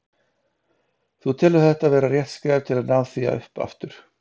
Þú telur þetta vera rétt skref til að ná því upp aftur?